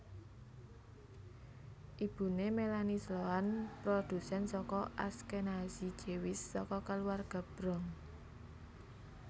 Ibune Melanie Sloan produsen saka Ashkenazi Jewish saka keluarga Bronx